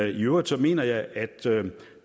i øvrigt mener jeg at